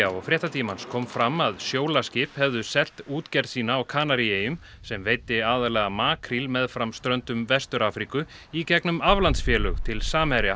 og Fréttatímans kom fram að Sjólaskip hefðu selt útgerð sína á Kanaríeyjum sem veiddi aðallega makríl meðfram ströndum Vestur Afríku í gegnum aflandsfélög til Samherja